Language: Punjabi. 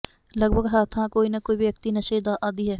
ਲਗਭਗ ਹਰ ਥਾਂ ਕੋਈ ਨਾ ਕੋਈ ਵਿਅਕਤੀ ਨਸ਼ੇ ਦਾ ਆਦੀ ਹੈ